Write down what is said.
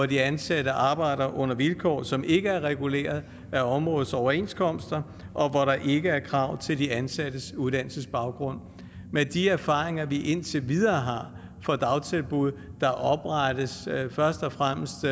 de ansatte arbejder under vilkår som ikke er reguleret af områdets overenskomster og hvor der ikke er krav til de ansattes uddannelsesbaggrund med de erfaringer vi indtil videre fra dagtilbud der er oprettet først og fremmest